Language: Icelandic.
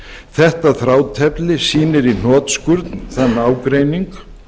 þetta þrátefli sýnir í hnotskurn þann ágreining